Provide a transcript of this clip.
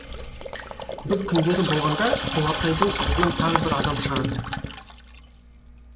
бір күңдері болғаңда құлатайдың алдынан тағы бір адам шығады